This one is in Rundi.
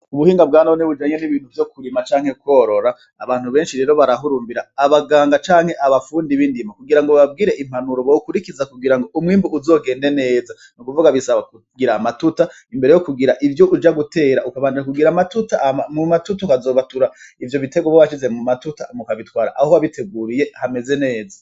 Ubuhinga bwanone bujanye nibintu vyo kurima canke kworora, abantu benshi rero barahurumbira abaganga canke abafundi bindimo kugira ngo bababwire impanuro bokurikiza kugira ngo umwimbu uzogende neza, n'ukuvuga bisaba kugira amatuta imbere yo kugira ivyo uja gutera ukabanza kugira amatuta hama mu matuta ukazobatura ivyo biterwa uba washize mu matuta hama ukabitwara aho wabiteguriye hameze neza.